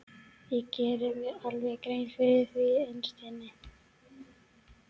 Ég geri mér alveg grein fyrir því innst inni.